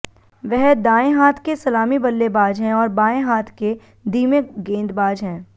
वह दाएं हाथ के सलामी बल्लेबाज हैं और बाएं हाथ के धीमे गेंदबाज हैं